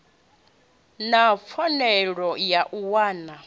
na pfanelo ya u wana